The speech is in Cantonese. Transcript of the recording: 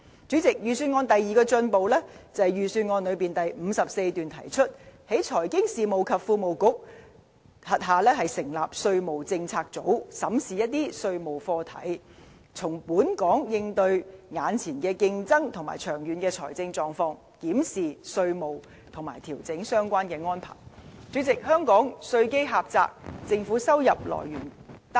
主席，預算案第二個進步，是在第54段提出，在財經事務及庫務局轄下成立稅務政策組，審視一些稅務課題，因應本港目前面對的競爭和長遠的財政狀況，檢視稅務和調整相關安排。主席，香港稅基狹窄，政府收入來源單一。